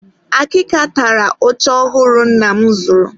Akịka tara oche ọhụrụ nna m zụrụ.